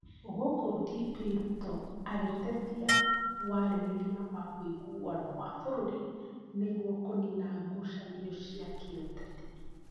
Gũkũ DP Ruto agĩtetia warĩrĩria wa woiguano wa bũrũri nĩguo kũnina ngucanio cia kĩũteti .